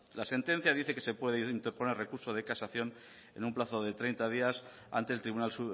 la sentencia dice que se puede interponer recurso de casación en un plazo de treinta días ante el tribunal